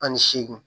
Ani seegin